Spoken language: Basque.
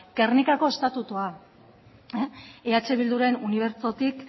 gernikako estatutua eh bilduren unibertsotik